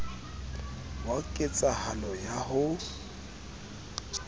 wa ket sahalo ya ho